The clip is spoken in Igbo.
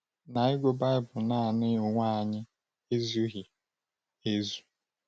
Na ịgụ Baịbụl naanị n’onwe anyị ezughị ezu.